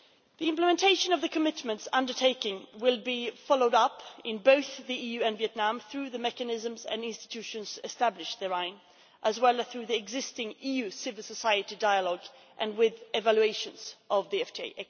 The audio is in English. The implementation of the commitments undertaken will be followed up in both the EU and Vietnam through the mechanisms and institutions established therein, as well as through the existing EU civil society dialogue and with ex post evaluations of the FTA.